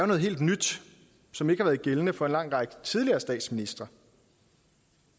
noget helt nyt som ikke har været gældende for en lang række tidligere statsministre